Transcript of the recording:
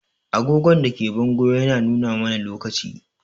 Agogon da ke bango yana nuna mana lokaci.